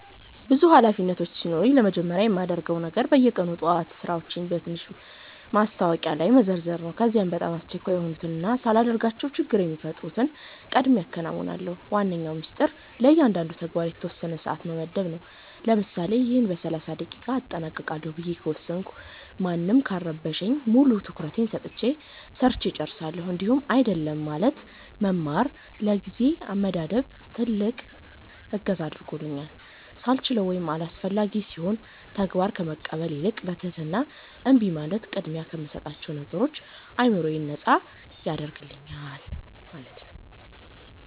ብዙ ኃላፊነቶች ሲኖሩኝ ለመጀመሪያ የማደርገው ነገር በየቀኑ ጠዋት ሥራዎቼን በትንሽ ማስታወሻ ላይ መዘርዘር ነው። ከዚያ በጣም አስቸኳይ የሆኑትንና ሳላደርጋቸው ችግር የሚፈጥሩትን ቀድሜ አከናውናለሁ። ዋነኛው ሚስጥር ለእያንዳንዱ ተግባር የተወሰነ ሰዓት መመደብ ነው፤ ለምሳሌ "ይህን በ30 ደቂቃ አጠናቅቃለሁ" ብዬ ከወሰንኩ ማንም ካልረበሸኝ ሙሉ ትኩረቴን ሰጥቼ ሰርቸ እጨርሳለሁኝ። እንዲሁም "አይደለም" ማለትን መማር ለጊዜ አመዳደቤ ትልቅ እገዛ አድርጎልኛል፤ ሳልችለው ወይም አላስፈላጊ ሲሆን ተግባር ከመቀበል ይልቅ በትህትና እምቢ ማለት ቅድሚያ ለምሰጣቸው ነገሮች አዕምሮዬን ነጻ ያደርግልኛል።